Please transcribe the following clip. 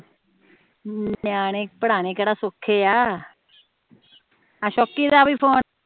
ਨਿਆਣੇ ਪੜ੍ਹਾਨੇ ਕੇਹੜਾ ਸੋਖੇ ਆ ਆਹ ਸੋਕੀ ਦਾ ਵੀ ਫੋਨ